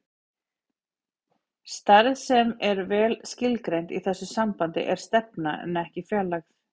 Stærð sem er vel skilgreind í þessu sambandi er stefna en ekki fjarlægð.